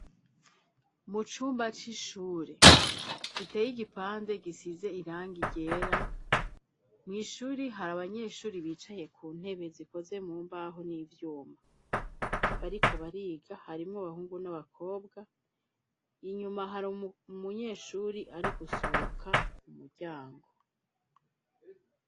Mu cumba c'ishure giteye igipande gisize irangi ryera ,mw'ishuri hari abanyeshuri bicaye ku ntebe zikoze mumbaho n'ivyuma, bariko bariga harimwo abahungu n'abakobwa ,inyuma hari umunyeshuri ari gusohoka mu muryango.